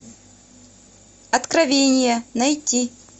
откровение найти